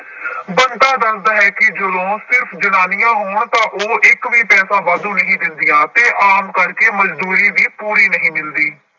ਬੰਤਾ ਦੱਸਦਾ ਹੈ ਕਿ ਜਦੋਂ ਸਿਰਫ਼ ਜਨਾਨੀਆਂ ਹੋਣ ਤਾਂ ਉਹ ਇੱਕ ਵੀ ਪੈਸਾ ਵਾਧੂ ਨਹੀਂ ਦਿੰਦੀਆਂ ਤੇ ਆਮ ਕਰਕੇ ਮਜ਼ਦੂਰੀ ਵੀ ਪੂਰੀ ਨਹੀਂ ਮਿਲਦੀ।